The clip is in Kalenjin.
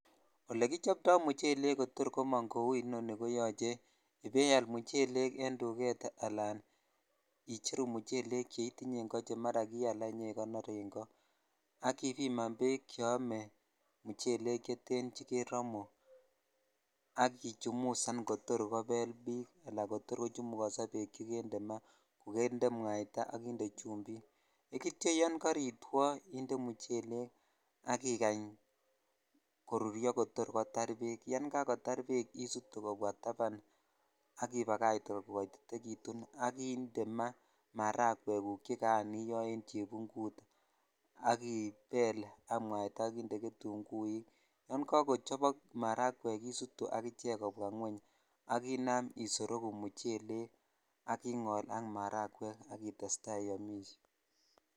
Ole kichopto muchelek kotor komong ko inoni ko yoche ibaial muchelek en duvet ala icheru muchelek cheutinywn akoo ala chekiikonor en koo ak ibiman bek cheome cheten chekeromu ak ichumusan kotor kobel bik ala kotor kochumukoso bek chekende maa ko kende mwataa ak chumbik ekityo yon kartwoo inde muchelek al ikany koruryo kotor kotar bek yan kakodar bek isutu kobwa taban ak ibakach kokotitekitun ak inde maa maragwek chekaan iyoo en chebungut ak ibel ak mwaita ak inde getuguik yo kakochobok maragwek isutu ak ichek kobwa ngweng ak inam isorogu muchelek ak ingol ak maragwek ak tetai iyomishe.